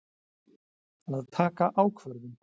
Að taka ákvörðun.